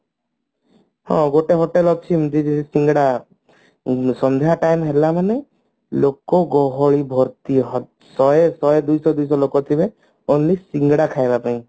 ହଁ ଗୋଟେ hotel ଅଛି ଏମତି କି ସିଙ୍ଗଡା ସନ୍ଧ୍ଯା time ହେଲାମାନେ ଲୋକ ଗହଳି ଭର୍ତି ହ ଶହେ ଶହେ ଦୁଇଶ ଦୁଇଶ ଲୋକ ଥିବେ ଖାଲି ସିଙ୍ଗଡା ଖାଇବା ପାଇଁ